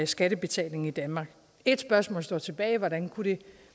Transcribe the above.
skattebetaling i danmark et spørgsmål står tilbage hvordan kunne det